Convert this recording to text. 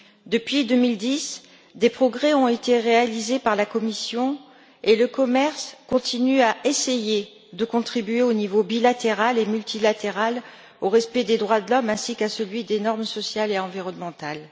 Depuis 2010, des progrès ont été réalisés par la Commission et le commerce continue à essayer de contribuer, au niveau bilatéral et multilatéral, au respect des droits de l'homme, ainsi qu'à celui des normes sociales et environnementales.